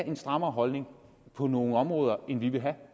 en strammere holdning på nogle områder end vi vil have